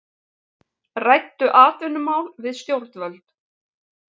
Ræddu atvinnumál við stjórnvöld